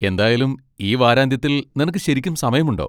എന്തായാലും, ഈ വാരാന്ത്യത്തിൽ നിനക്ക് ശരിക്കും സമയമുണ്ടോ?